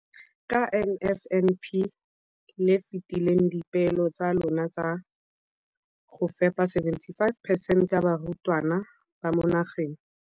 Ka NSNP le fetile dipeelo tsa lona tsa go fepa masome a supa le botlhano a diperesente ya barutwana ba mo nageng.